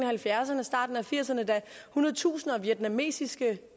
halvfjerdserne og starten af nitten firserne da hundredtusinder af vietnamesiske